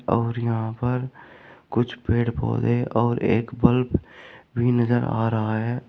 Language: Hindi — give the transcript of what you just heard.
और यहां पर कुछ पेड़ पौधे और एक बल्ब भी नजर आ रहा है।